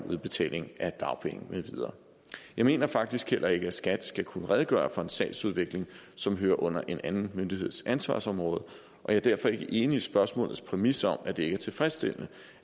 udbetaling af dagpenge med videre jeg mener faktisk heller ikke at skat skal kunne redegøre for en sagsudvikling som hører under en anden myndigheds ansvarsområde og jeg er derfor ikke enig i spørgsmålets præmis om at det ikke er tilfredsstillende